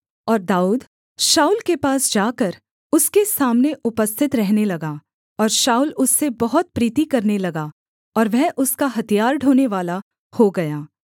और दाऊद शाऊल के पास जाकर उसके सामने उपस्थित रहने लगा और शाऊल उससे बहुत प्रीति करने लगा और वह उसका हथियार ढोनेवाला हो गया